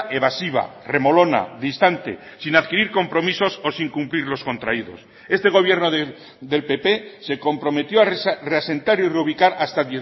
evasiva remolona distante sin adquirir compromisos o sin cumplir los contraídos este gobierno del pp se comprometió a reasentar y reubicar hasta a